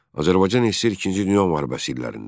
Azərbaycan SSR İkinci Dünya müharibəsi illərində.